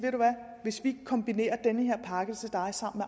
hvis vi kombinerer den her pakke til dig sammen